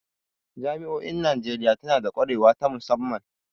Jami'o'in Najeriya na da kwarewa ta musamman.